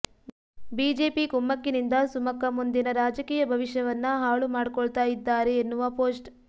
BJP ಕುಮ್ಮಕ್ಕಿನಿಂದ ಸುಮಕ್ಕ ಮುಂದಿನ ರಾಜಕೀಯ ಭವಿಷ್ಯವನ್ನ ಹಾಳು ಮಾಡ್ಕೊಳ್ತಾ ಇದ್ದಾರೆ ಎನ್ನುವ ಪೋಸ್ಟ್